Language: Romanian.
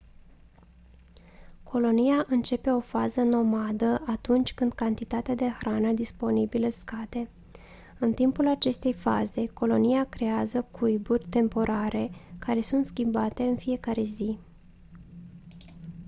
colonia începe o fază nomadă atunci când cantitatea de hrană disponibilă scade în timpul acestei faze colonia creează cuiburi temporare care sunt schimbate în fiecare zi